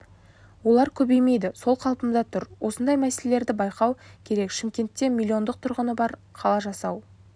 олар көбеймейді сол қалпында тұр осындай мәселелерді байқау керек шымкентте миллиондық тұрғыны бар қала жасау